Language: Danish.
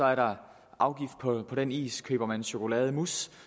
er der afgift på den is køber man chokolademousse